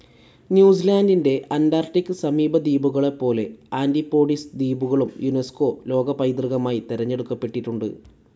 ന്യൂസിലാൻഡിൻ്റെ അന്റാർക്ടിക്‌ സമീപദ്വീപുകളെപ്പോലെ ആൻ്റിപ്പോഡിസ് ദ്വീപുകളും യുനെസ്കോ ലോകപൈതൃകമായി തെരഞ്ഞെടുക്കപ്പെട്ടിട്ടുണ്ട്.